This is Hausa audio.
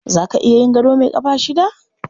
Za ka iya yin gado mai ƙafa shida?